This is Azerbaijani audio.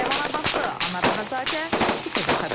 Ləman Abbası, Anar Ağazadə, İTV Xəbər.